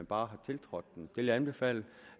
bare har tiltrådt den vil jeg anbefale